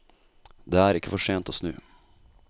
Det er ikke for sent å snu.